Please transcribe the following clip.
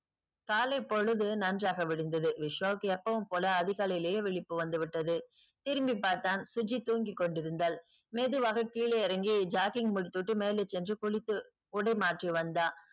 காலைப்பொழுது நன்றாக விடிந்தது விஷ்வாவுக்கு எப்போவும் போல அதிகாலையே விழிப்பு வந்துவிட்டது திரும்பிப்பார்த்தான் சுஜி தூங்கிக்கொண்டிருந்தால் மெதுவாக கீழே இறங்கி jocking முடித்துவிட்டு மேலே சென்று குளித்து உடை மாற்றி வந்தான்